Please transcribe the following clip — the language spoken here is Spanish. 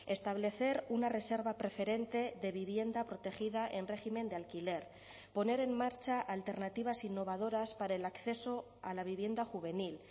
establecer una reserva preferente de vivienda protegida en régimen de alquiler poner en marcha alternativas innovadoras para el acceso a la vivienda juvenil